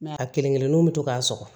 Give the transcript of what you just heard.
a kelen kelennuw bi to k'a sɔgɔ